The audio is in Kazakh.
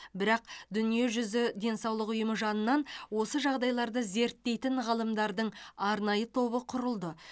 бірақ дүниежүзі денсаулық ұйымы жанынан осы жағдайларды зерттейтін ғалымдардың арнайы тобы құрылды